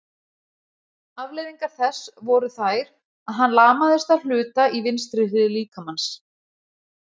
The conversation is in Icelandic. Afleiðingar þess voru þær að hann lamaðist að hluta í vinstri hlið líkamans.